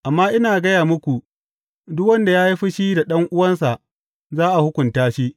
Amma ina gaya muku, duk wanda ya yi fushi da ɗan’uwansa, za a hukunta shi.